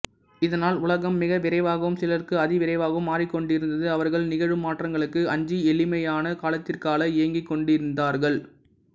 இதனால் உலகம் மிக விரைவாகவும் சிலருக்கு அதி விரைவாகவும் மாறிக்கொண்டிருந்தது அவர்கள் நிகழும் மாற்றங்களுக்கு அஞ்சி எளிமையான காலத்திற்கால ஏங்கிக்கொண்டிருந்தார்கள்